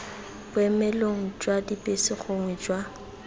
boemelong jwa dibese gongwe jwa